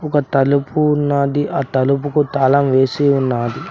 ఒక తలుపు ఉన్నాది ఆ తలుపుకు తాళం వేసి ఉన్నాది